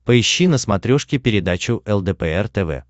поищи на смотрешке передачу лдпр тв